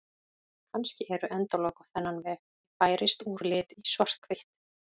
Kannski eru endalok á þennan veg: Ég færist úr lit í svarthvítt.